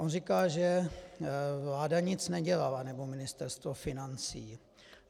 On říká, že vláda nic nedělala, nebo Ministerstvo financí.